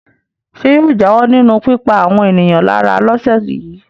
Ṣé yóò jáwọ́ nínú pípa àwọn ènìyàn lára lọ́sẹ̀ yìí?